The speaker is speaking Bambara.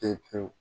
Pewu pewu